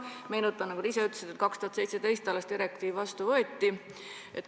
Meenutan, et nagu te ise ka ütlesite, 2017. aastal alles võeti direktiiv vastu.